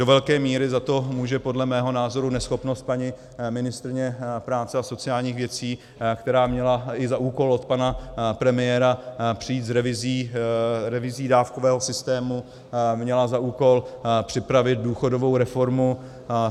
Do velké míry za to může podle mého názoru neschopnost paní ministryně práce a sociálních věcí, která měla i za úkol od pana premiéra přijít s revizí dávkového systému, měla za úkol připravit důchodovou reformu.